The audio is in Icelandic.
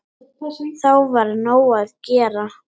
Þá var nóg að gera.